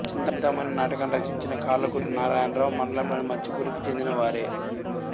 చింతామణి నాటకాన్ని రచించిన కాళ్ళకూరి నారాయణరావు మండలంలోని మత్స్యపురికి చెందిన వారే